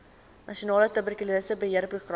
nasionale tuberkulose beheerprogram